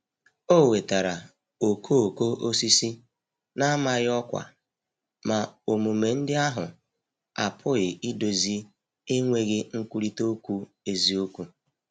O wetara okooko osisi na-amaghị ọkwa, ma omume ndị ahụ apụghị idozi enweghị nkwurịta okwu eziokwu.